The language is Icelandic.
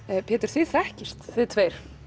Pétur þið þekkist þið tveir